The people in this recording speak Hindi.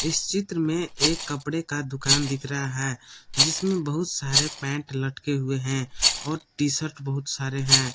इस चित्र में एक कपड़े का दुकान दिख रहा है जिसमें बहुत सारे पैंट लटके हुए हैं और टी शर्ट बहुत सारे हैं।